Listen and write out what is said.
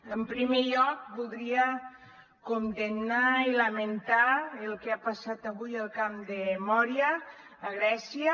en primer lloc voldria condemnar i lamentar el que ha passat avui al camp de mória a grècia